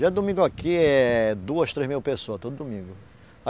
Dia de domingo aqui é duas, três mil pessoa, todo domingo.